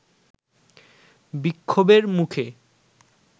বিক্ষোভের মুখে